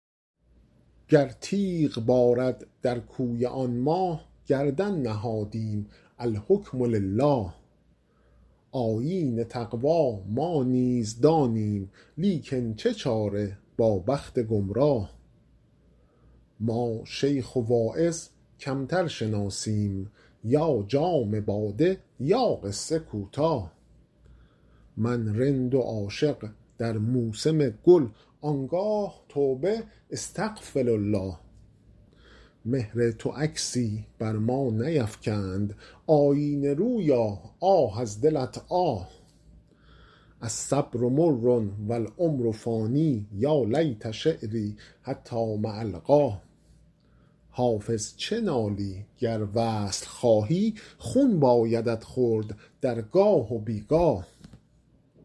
گر تیغ بارد در کوی آن ماه گردن نهادیم الحکم لله آیین تقوا ما نیز دانیم لیکن چه چاره با بخت گمراه ما شیخ و واعظ کمتر شناسیم یا جام باده یا قصه کوتاه من رند و عاشق در موسم گل آن گاه توبه استغفرالله مهر تو عکسی بر ما نیفکند آیینه رویا آه از دلت آه الصبر مر و العمر فان یا لیت شعري حتام ألقاه حافظ چه نالی گر وصل خواهی خون بایدت خورد در گاه و بی گاه